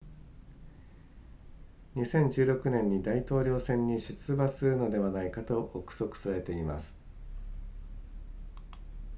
2016年に大統領選に出馬するのではないかと憶測されています